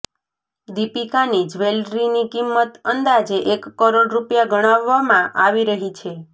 દીપિકાની જ્વેલરીની કિંમત અંદાજે એક કરોડ રૂપિયા ગણાવવામાં આવી રહી છે